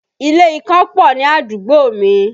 Ilé ìkan pọ̀ ní àdúgbò mi